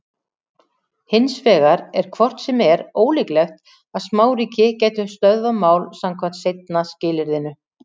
Hins vegar er hvort sem er ólíklegt að smáríki gætu stöðvað mál samkvæmt seinna skilyrðinu.